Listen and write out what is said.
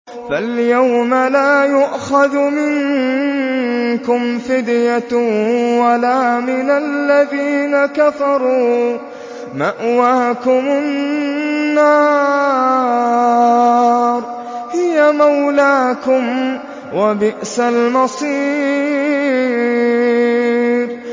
فَالْيَوْمَ لَا يُؤْخَذُ مِنكُمْ فِدْيَةٌ وَلَا مِنَ الَّذِينَ كَفَرُوا ۚ مَأْوَاكُمُ النَّارُ ۖ هِيَ مَوْلَاكُمْ ۖ وَبِئْسَ الْمَصِيرُ